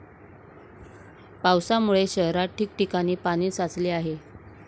पावसामुळे शहरात ठिकठिकाणी पाणी साचले आहे.